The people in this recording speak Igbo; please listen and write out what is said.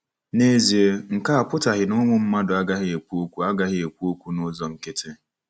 N'ezie, nke a apụtaghị na ụmụ mmadụ agaghị ekwu okwu agaghị ekwu okwu n'ụzọ nkịtị.